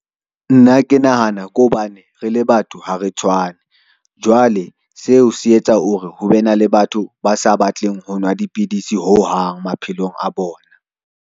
Nna ke nahana ke hobane re le batho ha re tshwane, jwale seo se etsa ho re ho be na le batho ba sa batleng ho nwa dipidisi ho hang maphelong a bona.